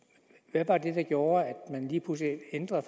hvad var det der gjorde at man lige pludselig ændrede